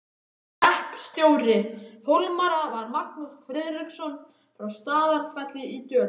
Hreppstjóri Hólmara var Magnús Friðriksson frá Staðarfelli í Dölum.